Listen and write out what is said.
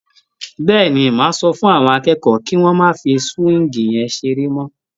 Bẹ́ẹ̀ni, màá sọ fún àwọn akẹ́kọ̀ọ́ kí wọ́n má fí súwíìgì yẹn ṣeré mọ́?